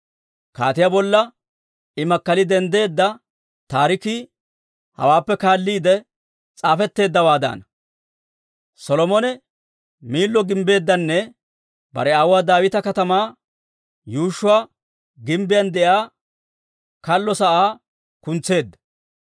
Kaatiyaa bolla I makkali denddeedda taarikii hawaappe kaalliide s'aafetteeddawaadana. Solomone Miillo gimbbeeddanne bare aawuwaa Daawita Katamaa yuushshuwaa gimbbiyaan de'iyaa kallo sa'aa kuntseedda.